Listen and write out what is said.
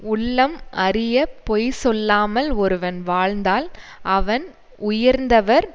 உள்ளம் அறிய பொய் சொல்லாமல் ஒருவன் வாழ்ந்தால் அவன் உயர்ந்தவர்